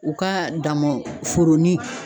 U ka damɔn foronin